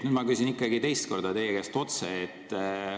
Nüüd ma küsin teist korda teie käest otse.